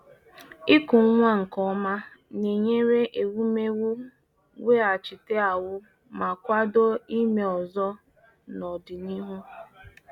Ịkụ nwa nke ọma na-enyere ewumewụ weghachite ahụ́ ma kwado ime ọzọ n’ọdịnihu.